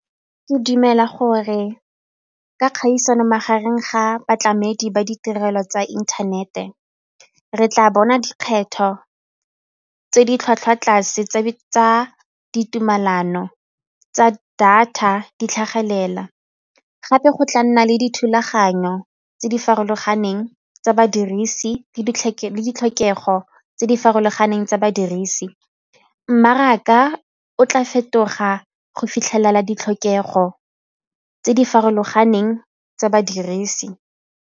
Ke dumela gore ka kgaisano magareng ga batlamedi ba ditirelo tsa inthanete, re tla bona dikgetho tse di tlhwatlhwa tlase tsa ditumelano tsa data di tlhagelela gape go tla nna le dithulaganyo tse di farologaneng tsa badirisi le ditlhokego tse di farologaneng tsa badirisi, mmaraka o tla fetoga go fitlhelela ditlhokego tse di farologaneng tsa badirisi.